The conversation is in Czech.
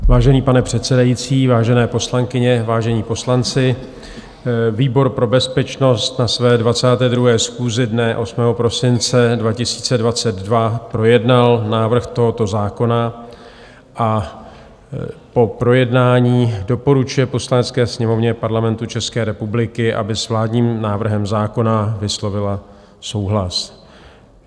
Vážený pane předsedající, vážené poslankyně, vážení poslanci, výbor pro bezpečnost na své 22. schůzi dne 8. prosince 2022 projednal návrh tohoto zákona a po projednání doporučuje Poslanecké sněmovně Parlamentu České republiky, aby s vládním návrhem zákona vyslovila souhlas.